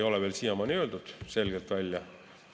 Ja minu meelest A-d ei ole siiamaani selgelt välja öeldud.